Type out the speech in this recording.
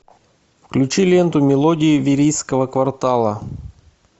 включи ленту мелодии верийского квартала